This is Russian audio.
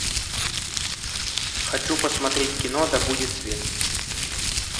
хочу посмотреть кино да будет свет